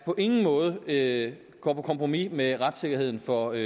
på ingen måde er at gå på kompromis med retssikkerheden for